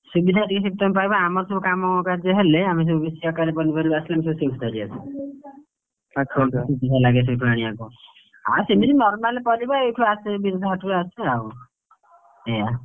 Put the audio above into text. ସୁବିଧାରେ ଟିକେ ସେଇଠି ତମେ ପାଇବ ଆଉ, ଆମର ସବୁ କାମକାର୍ଯ୍ୟ ହେଲେ ଆମେ ସବୁ ବେଶୀ ଆକାରରେ ପନିପରିବା ଆସିଲେ ଆମେ ସବୁ ସେଇଠୁ ଧରିଆସୁ, ସୁବିଧା ଲାଗେ ସେଉଠୁ ଆଣିବାକୁ। ହଁ ସେମତି normal ପରିବା ଏଇଠୁ ଆସେ ବିରଜା ହାଟରୁ ଆସେ ଆଉ, ଏୟା।